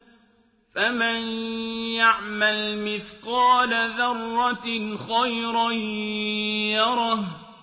فَمَن يَعْمَلْ مِثْقَالَ ذَرَّةٍ خَيْرًا يَرَهُ